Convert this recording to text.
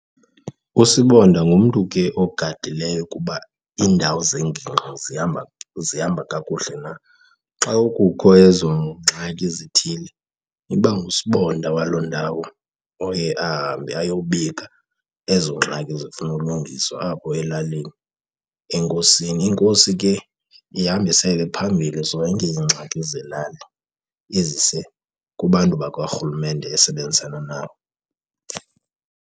USibonda ngumntu ke ogadileyo ukuba iindawo zengingqi zihamba, zihamba kakuhle na. Xa kukho ezo ngxaki zithile iba nguSibonda waloo ndawo oye ahambe ayobika ezo ngxaki zifuna ulungiswa apho elalini enkosini. Inkosi ke ihambise ke phambilli zonke iingxaki zelali izise kubantu bakarhulumente esebenzisana nabo.